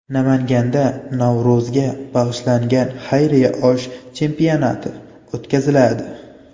Namanganda Navro‘zga bag‘ishlangan xayriya osh chempionati o‘tkaziladi.